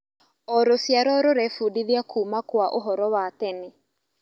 O rũciaro rũrebundithia kuuma kwa ũhoro wa tene.